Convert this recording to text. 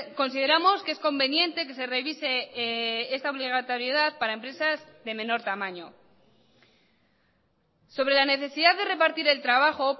consideramos que es conveniente que se revise esta obligatoriedad para empresas de menor tamaño sobre la necesidad de repartir el trabajo